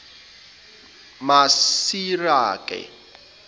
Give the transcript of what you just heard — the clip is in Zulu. masireka